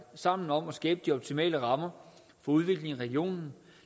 sammen om at skabe de optimale rammer for udvikling i regionen